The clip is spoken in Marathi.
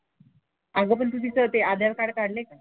अगं पण तू तिचं ते आधार कार्ड काढलंय का?